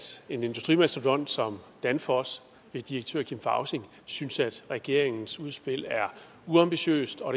en industrimastodont som danfoss ved direktør kim fausing synes at regeringens udspil er uambitiøst og